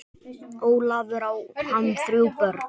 Ólafur, á hann þrjú börn.